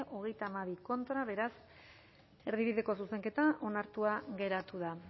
treinta y dos contra beraz erdibideko zuzenketa onartua geratu da